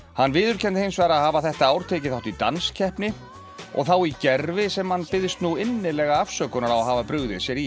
hann viðurkenndi hins vegar að hafa þetta ár tekið þátt í danskeppni og þá í gervi sem hann biðst innilega afsökunar á að hafa brugðið sér í